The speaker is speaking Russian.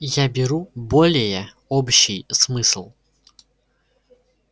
я беру более общий смысл